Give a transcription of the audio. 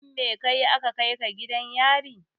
Lefin me kayi aka kai ka gidan yari?